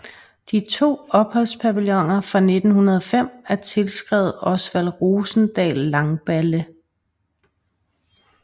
De to opholdspavilloner fra 1905 er tilskrevet Osvald Rosendahl Langballe